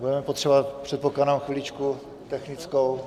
Budeme potřebovat, předpokládám, chviličku technickou.